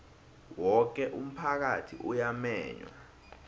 woke umphakathi uyamenywa